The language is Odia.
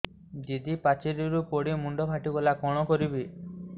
ଦିଦି ପାଚେରୀରୁ ପଡି ମୁଣ୍ଡ ଫାଟିଗଲା କଣ କରିବି